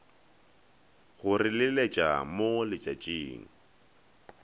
go re leletša mo letšatšing